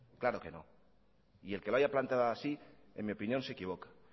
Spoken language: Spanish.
claro que no y el que lo haya planteado así en mi opinión se equivoca